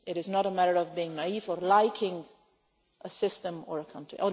it is not a matter of being naive or liking' a system or a country.